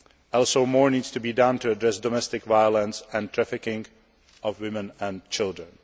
Also, more needs to be done to address domestic violence and trafficking of women and children.